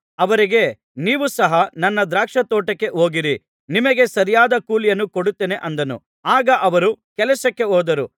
ಅವರಿಗೆ ನೀವು ಸಹ ನನ್ನ ದ್ರಾಕ್ಷಾತೋಟಕ್ಕೆ ಹೋಗಿರಿ ನಿಮಗೆ ಸರಿಯಾದ ಕೂಲಿಯನ್ನು ಕೊಡುತ್ತೇನೆ ಅಂದನು ಆಗ ಅವರು ಕೆಲಸಕ್ಕೆ ಹೋದರು